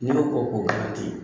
Munnu ko ko